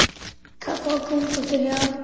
Kaffi og konfekt eftir athöfn.